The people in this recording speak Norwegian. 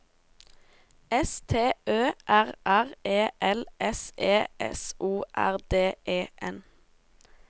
S T Ø R R E L S E S O R D E N